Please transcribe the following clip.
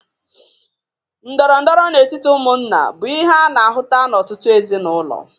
Ndọrọndọrọ n'etiti ụmụnna bụ ihe ana-ahụta n'ọtụtụ ezinaụlọ.